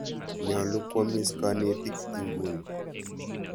Nyalu kwamis kanetik inguni.